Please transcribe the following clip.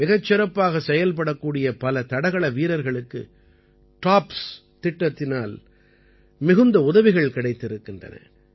மிகச் சிறப்பாகச் செயல்படக்கூடிய பல தடகள வீரர்களுக்கு டாப்ஸ் திட்டத்தினால் மிகுந்த உதவிகள் கிடைத்திருக்கின்றன